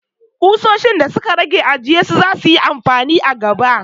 Kusoshin da su ka rage a ajiye su! za su yi amfani a gaba.